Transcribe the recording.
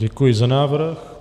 Děkuji za návrh.